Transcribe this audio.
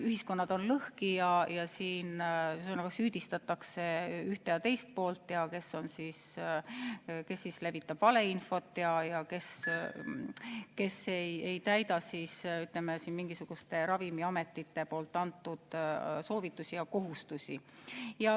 Ühiskonnad on lõhki ja süüdistatakse ühte ja teist poolt: kes levitab valeinfot ja kes ei täida, ütleme, mingisuguste ravimiametite soovitusi ja kohustusi.